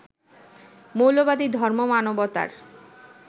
মৌলবাদী ধর্ম মানবতার